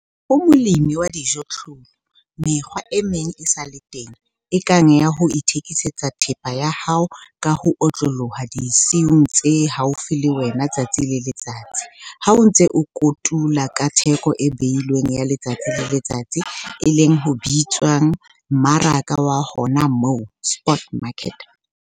Ho molemi wa dijothollo, mekgwa e meng e sa le teng, e kang ya ho ithekisetsa thepa ya hao ka ho otloloha disiung tse haufi le wena letsatsi le letsatsi ha o ntse o kotula ka theko e behilweng ya letsatsi le letsatsi - e leng ho bitswang 'mmaraka wa hona moo', spot market.